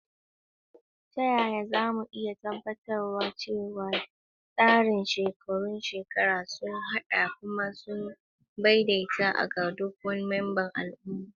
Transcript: Ta yaya za mu iya tabbatar da cewa tsarin shekarun shekaru sun haɗa kuma sun daidaita ga duk membobin al'umma?